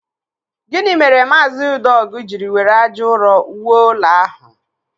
Gịnị mere maazị Udeogu jiri were ájá ụrọ wuo ụlọ ahụ?